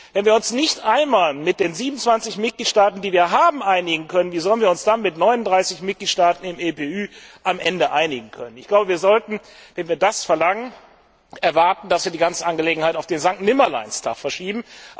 Wenn wir uns nicht einmal mit den 27 Mitgliedstaaten der EU einigen können, wie sollen wir uns dann mit 39 Mitgliedstaaten im EPÜ am Ende einigen können? Wenn wir das verlangen, müssen wir die ganze Angelegenheit auf den Sankt Nimmerleinstag verschieben.